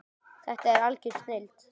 Þetta er algjör snilld.